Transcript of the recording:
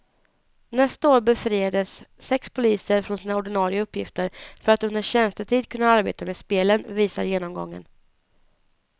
Nästa år befriades sex poliser från sina ordinarie uppgifter för att under tjänstetid kunna arbeta med spelen, visar genomgången.